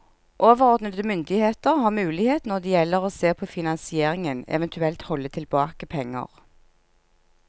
Overordnede myndigheter har mulighet når det gjelder å se på finansieringen, eventuelt holde tilbake penger.